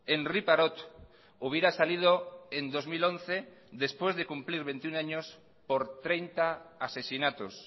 henri parot hubiera salido en dos mil once después de cumplir veintiuno años por treinta asesinatos